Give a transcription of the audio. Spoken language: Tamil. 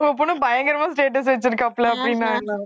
உங்க பொண்ணு பயங்கரமா status வச்சிருக்காப்புல அப்படின்னாங்களாம்